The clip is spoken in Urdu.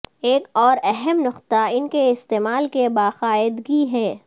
ایک اور اہم نقطہ ان کے استعمال کے باقاعدگی ہے